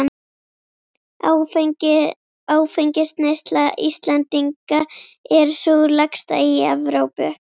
Áfengisneysla Íslendinga er sú lægsta í Evrópu.